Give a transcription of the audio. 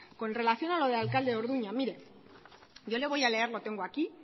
con relación a lo del alcalde de orduña le voy a leer lo tengo aquí